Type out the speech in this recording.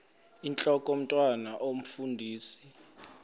intlok omntwan omfundisi